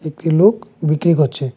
একটি লোক বিক্রি করছে।